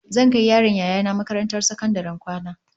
Zan kai yaron Yaya nah makarantar sakandaren kwana